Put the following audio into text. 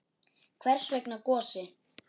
Hvers vegna Gosi?